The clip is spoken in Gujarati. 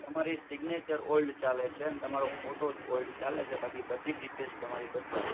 તમારી signature old ચાલે છે ને તમારો photo old ચાલે છે બાકી બધી details તમારી બદલાહે.